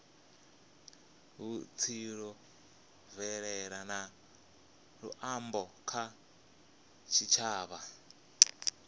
vhutsila mvelele na luambo kha tshitshavha